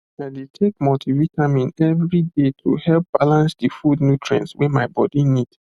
i dey take multivitamin every day to help balance the food nutrients wey my body need